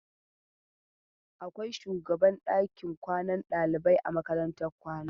Akwai shugaban ɗakin kwanan ɗalibai a makarantar kwana.